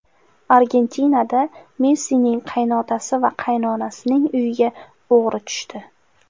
Argentinada Messining qaynotasi va qaynonasining uyiga o‘g‘ri tushdi.